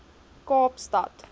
kaapstad